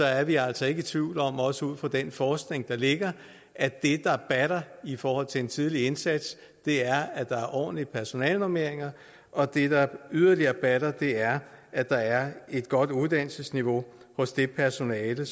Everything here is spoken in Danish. er vi altså ikke i tvivl om også ud fra den forskning der ligger at det der batter i forhold til en tidlig indsats er at der er ordentlige personalenormeringer og det der yderligere batter er at der er et godt uddannelsesniveau hos det personale